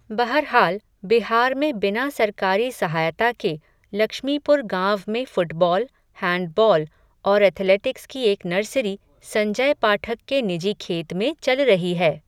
बहरहाल, बिहार में बिना सरकारी सहायता के लक्ष्मीपुर गांव में फ़ुटबॉल, हैंडबॉल, और एथलेटिक्स की एक नर्सरी, संजय पाठक के निजी खेत में चल रही है.